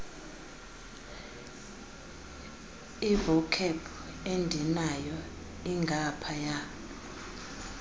ivocab endinayo ingaphaya